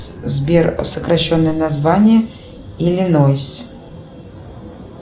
сбер сокращенное название иллинойс